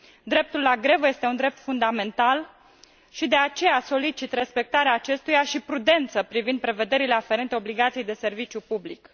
Dreptul la grevă este un drept fundamental și de aceea solicit respectarea acestuia și prudență privind prevederile aferente obligației de serviciu public.